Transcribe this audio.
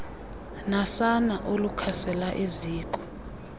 nasana olukhasela eziko